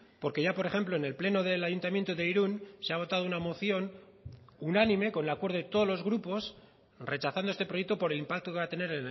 porque ya por ejemplo en el pleno del ayuntamiento de irun se ha votado una moción unánime con el acuerdo de todos los grupos rechazando este proyecto por el impacto que va a tener